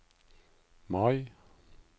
Mai